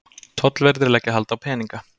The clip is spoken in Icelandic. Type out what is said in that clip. Tollverðir leggja hald á peninga